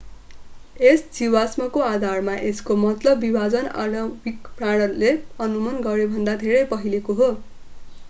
यस जीवाश्मको आधारमा यसको मतलब विभाजन आणविक प्रमाणले अनुमान गरेभन्दा धेरै पहिलेको हो